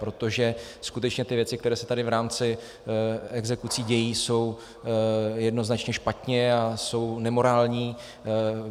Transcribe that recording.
Protože skutečně ty věci, které se tady v rámci exekucí dějí, jsou jednoznačně špatně a jsou nemorální.